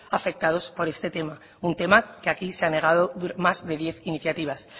afectados por este tema un tema que aquí se ha negado más de diez iniciativas